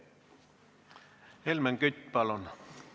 Helmen Kütt, palun!